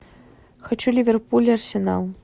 хочу ливерпуль арсенал